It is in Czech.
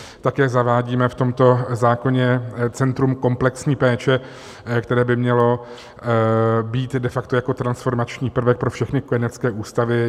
Také zavádíme v tomto zákoně centrum komplexní péče, které by mělo být de facto jako transformační prvek pro všechny kojenecké ústavy.